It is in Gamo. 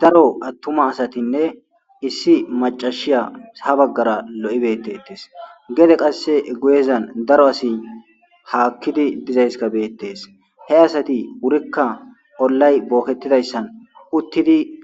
Daro atuma asatine issi macasiya ha baggara loyidi betetesi gede qasi guyezani daro assi hakidi dizayisi betesi he asati ubatika ollayi boketidayissani